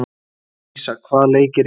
Teresía, hvaða leikir eru í kvöld?